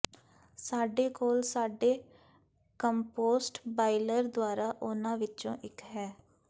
ਸਾਡੇ ਕੋਲ ਸਾਡੇ ਕੰਪੋਸਟ ਬਾਈਲਰ ਦੁਆਰਾ ਉਹਨਾਂ ਵਿੱਚੋਂ ਇੱਕ ਹੈ